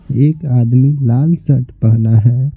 एक आदमी लाल शर्ट पहना है।